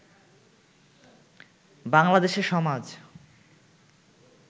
বাংলাদেশে সমাজ